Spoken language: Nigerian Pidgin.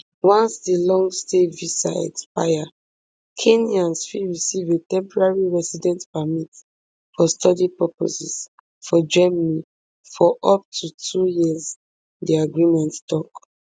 once di longstay visa expire kenyans fit receive a temporary residence permit for study purposes for germany for up to two years di agreement tok